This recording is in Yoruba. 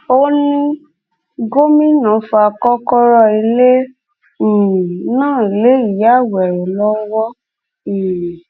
kọmíṣánnà ọlọpàá ẹkọhakeem odúmọṣù ló ṣàfihàn àfurasí ọdaràn náà lọfíìsì rẹ nìkẹjà lọjọrùú wẹsódùẹ ọsẹ yìí